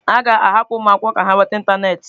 A ga-ahapụ ụmụ akwụkwọ ka ha nweta ịntanetị.